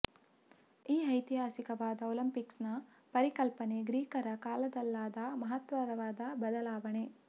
ಈ ಐತಿಹಾಸಿಕವಾದ ಒಲಿಂಪಿಕ್ಸ್ ನ ಪರಿಕಲ್ಪನೆ ಗ್ರೀಕರ ಕಾಲದಲ್ಲಾದ ಮಹತ್ತರವಾದ ಬದಲಾವಣೆ